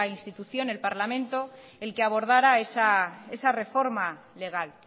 institución el parlamento el que abordara esa reforma legal